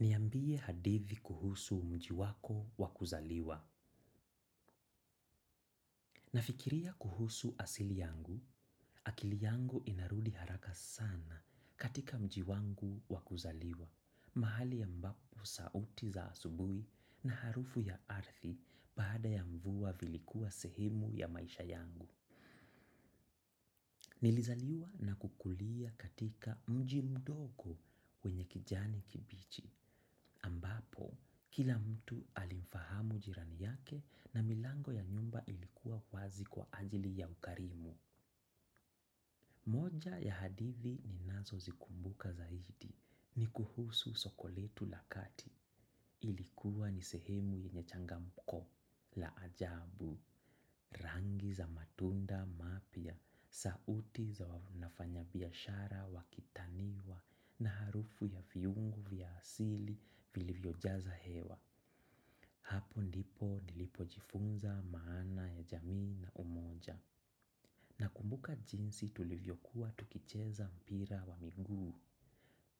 Niambie hadithi kuhusu mji wako wa kuzaliwa. Nafikiria kuhusu asili yangu, akili yangu inarudi haraka sana katika mji wangu wa kuzaliwa. Mahali ambapo sauti za asubuhi na harufu ya ardhi baada ya mvua vilikuwa sehemu ya maisha yangu. Nilizaliwa na kukulia katika mji mdogo wenye kijani kibichi. Ambapo, kila mtu alimfahamu jirani yake na milango ya nyumba ilikuwa wazi kwa ajili ya ukarimu. Moja ya hadithi ninazozikumbuka zaidi ni kuhusu soko letu la kati. Ilikuwa ni sehemu yenye changamko la ajabu rangi za matunda mapya sauti za wafabiashara wakitaniwa na harufu za viungo vya asili vinavyojaza hewa. Hapo ndipo nilipojifunza maana ya jamii na umoja. Nakumbuka jinsi tulivyokuwa tukicheza mpira wa miguu.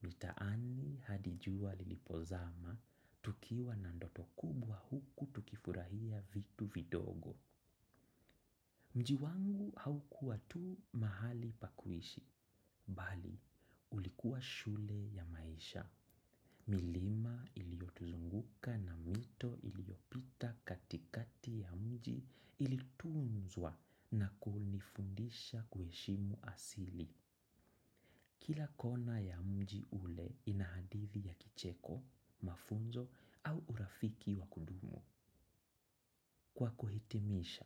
Mitaani hadi jua lilipozama tukiwa na ndoto kubwa huku tukifurahia vitu vidogo. Mji wangu haukuwa tu mahali pa kuishi. Bali, ulikuwa shule ya maisha. Milima iliotuzunguka na mito iliopita katikati ya mji ilitunzwa na kunifundisha kuheshimu asili. Kila kona ya mji ule inahadithi ya kicheko mafunzo au urafiki wa kudumu. Kwa kuhitimisha,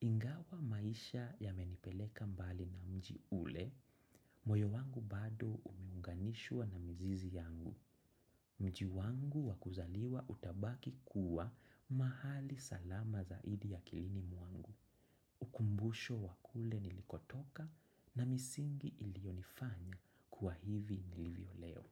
ingawa maisha yamenipeleka mbali na mji ule, moyo wangu bado umeunganishwa na mizizi yangu. Mji wangu wa kuzaliwa utabaki kuwa mahali salama zaidi akilini mwangu. Ukumbusho wa kule nilikotoka na misingi ilionifanya kuwa hivi nilivyo leo.